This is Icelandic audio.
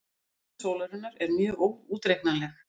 Virkni sólarinnar er mjög óútreiknanleg.